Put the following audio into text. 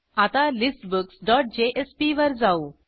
आता listbooksजेएसपी वर जाऊ